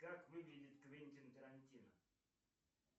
как выглядит квентин тарантино